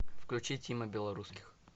включи тима белорусских